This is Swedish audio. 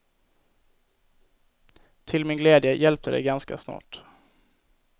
Till min glädje hjälpte det ganska snart.